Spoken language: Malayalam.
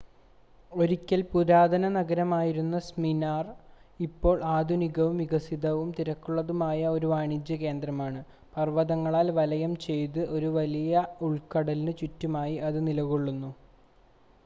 ഒരിക്കൽ പുരാതന നഗരമായിരുന്ന സ്മിർന ഇപ്പോൾ ആധുനികവും വികസിതവും തിരക്കുള്ളതുമായ ഒരു വാണിജ്യ കേന്ദ്രമാണ് പർവ്വതങ്ങളാൽ വലയം ചെയ്ത് ഒരു വലിയ ഉൾക്കടലിന് ചുറ്റുമായി അത് നിലകൊള്ളുന്നു